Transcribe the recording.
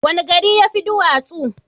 Wani gari ya fi duwatsu?